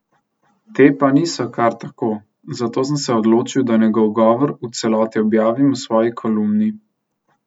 Te pa niso kar tako, zato sem se odločil, da njegov govor v celoti objavim v svoji kolumni.